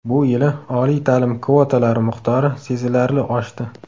Bu yili oliy ta’lim kvotalari miqdori sezilarli oshdi.